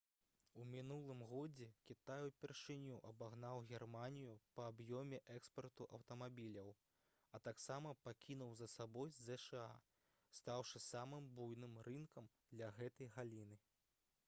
у мінулым годзе кітай упершыню абагнаў германію па аб'ёме экспарту аўтамабіляў а таксама пакінуў за сабой зша стаўшы самым буйным рынкам для гэтай галіны